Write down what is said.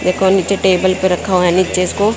एक ओर नीचे टेबल पे रखा हुआ है नीचे इसको--